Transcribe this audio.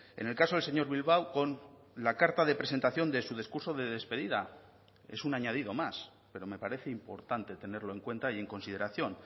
en el caso del señor bilbao con la carta de presentación de su discurso de despedida es un añadido más pero me parece importante tenerlo en cuenta y en consideración